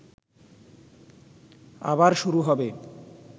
আবার শুরু হবে